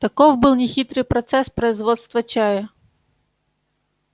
таков был нехитрый процесс производства чая